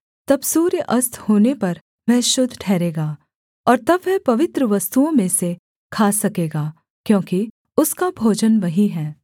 तब सूर्य अस्त होने पर वह शुद्ध ठहरेगा और तब वह पवित्र वस्तुओं में से खा सकेगा क्योंकि उसका भोजन वही है